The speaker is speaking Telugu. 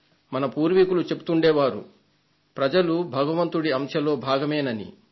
మన పూర్వీకులు చెబుతుండే వారు ప్రజలు భగవంతుడి అంశలో భాగమని